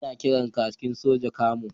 Ana kiran kakin sojan Camo